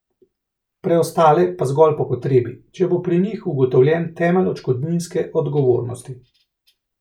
Preostale pa zgolj po potrebi, če bo pri njih ugotovljen temelj odškodninske odgovornosti.